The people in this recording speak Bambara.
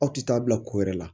Aw tɛ taa bila ko wɛrɛ la